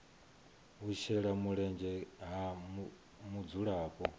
u shela mulenzhe ha mudzulapo